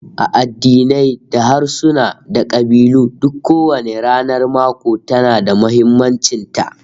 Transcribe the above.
A addinai da harsuna da kabilu duk kowanne ranar mako tana da muhimmancin ta